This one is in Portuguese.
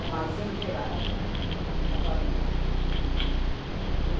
Armazém geral da família.